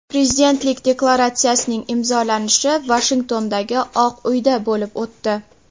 Prezidentlik deklaratsiyasining imzolanishi Vashingtondagi Oq uyda bo‘lib o‘tdi.